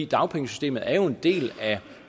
dagpengesystemet er jo en del af